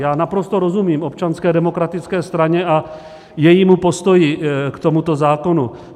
Já naprosto rozumím Občanské demokratické straně a jejímu postoji k tomuto zákonu.